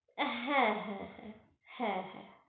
হ্যাঁ হ্যাঁ।